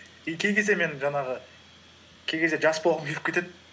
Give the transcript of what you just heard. и мен жаңағы кей кезде жас болғым келіп кетеді